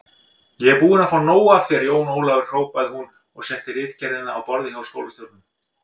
Ég er búin að fá nóg af þér, Jón Ólafur hrópaði hún og setti ritgerðina á borðið hjá skólastjóranum.